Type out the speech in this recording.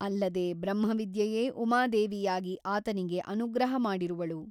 ಅಲ್ಲದೆ ಬ್ರಹ್ಮವಿದ್ಯೆಯೇ ಉಮಾದೇವಿಯಾಗಿ ಆತನಿಗೆ ಅನುಗ್ರಹ ಮಾಡಿರುವಳು.